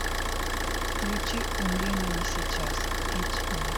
включи умри но не сейчас эйч ди